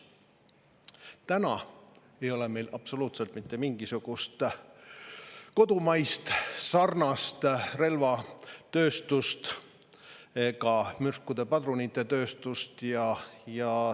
Täna ei ole meil absoluutselt mitte mingisugust kodumaist sarnast relvatööstust ega mürskude ja padrunite tööstust.